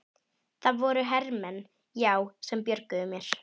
Það voru hermenn, já, sem björguðu mér.